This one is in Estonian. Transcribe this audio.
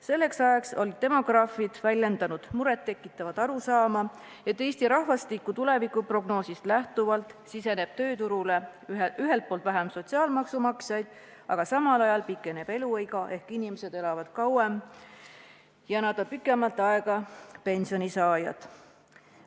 Selleks ajaks olid demograafid väljendanud muret tekitavat arusaama, et Eesti rahvastiku tulevikuprognoosist lähtuvalt siseneb tööturule ühelt poolt vähem sotsiaalmaksumaksjaid, aga samal ajal pikeneb eluiga ehk inimesed elavad kauem ja nad on pikemat aega pensionisaajad.